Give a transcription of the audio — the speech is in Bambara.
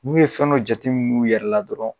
N'u ye fɛn jateminu u yɛrɛ la dɔrɔn